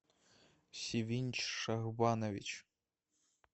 сивинч шахбанович